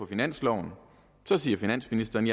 finansloven siger finansministeren